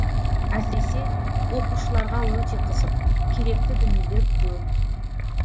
әсіресе оқушыларға өте қызық керекті дүниелер көп